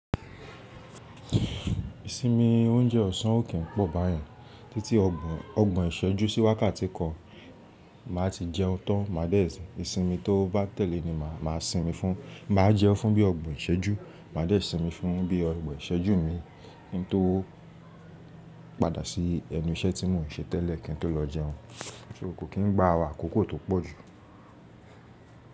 Ìsinmi oúnjẹ ọ̀sán ó kín pọ̀ báyen títí ọgbọ̀n ogbon ìṣẹ́jú sí wákàtí kan maá ti jẹun tán máa dé si. Ìsinmi tó bá tẹ̀lé ni màá sinmi fún, máa jẹun fún bí ọgbọ̀n ìṣẹ́jú máa dé sinmi fún bí ọgbọ̀n ìṣẹ́jú mii, kí n tó padà sí ẹnu iṣẹ́ tí mò ń ṣe tẹ́lẹ̀ kí n tó lọ jẹun. So kò kín ń gba àkòkò tó pọ̀ jù.